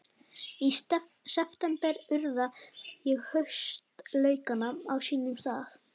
Í september urða ég haustlaukana á sínum stað.